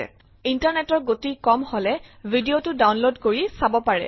ইন্টাৰনেটৰ গতি কম হলে ভি ডি অ টো ডাউনলোড কৰি চাব পাৰে